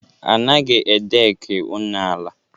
A naghị a dek ụnọala.